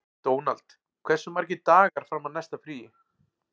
Dónald, hversu margir dagar fram að næsta fríi?